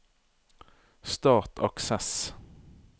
Start Access